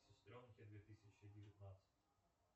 сестренки две тысячи девятнадцать